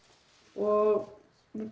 og